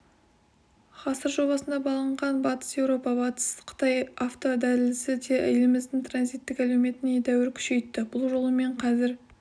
ғасыр жобасына баланған батыс еуропа-батыс қытай автодәлізі де еліміздің транзиттік әлеуетін едәуір күшейтті бұл жолмен қазір